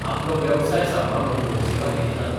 आपलो वेवसाय सांबाळून लोकसेवा केली ना.